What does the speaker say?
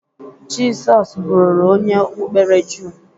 Jịsọs bụru onye okpukpere jụụ.